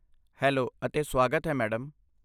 Hello ਅਤੇ ਸਵਾਗਤ ਹੈ, ਮੈਡਮ।